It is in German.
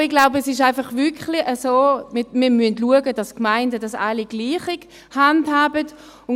Aber ich glaube, es ist wirklich einfach so: Wir müssen schauen, dass die Gemeinden es alle gleich handhaben.